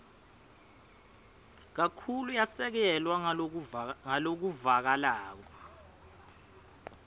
kakhulu yasekelwa ngalokuvakalako